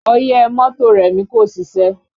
Ọyẹ́ mọ́tò Remi kò ṣiṣẹ́